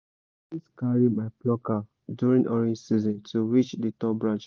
i dey always carry my plucker during orange season to reach the tall branches